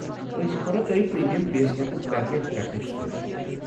اسۍ كرو تۄہہِ پریمیم بیس کیمپ پیکیج رٹنٕچ سُفٲرش ۔